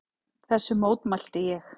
Þessu mótmælti ég.